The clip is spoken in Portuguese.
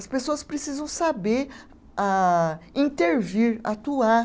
As pessoas precisam saber ah, intervir, atuar.